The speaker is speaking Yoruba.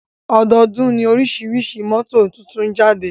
Ọdọọ́dún ní oríṣi mọ́tò tuntun ń jáde.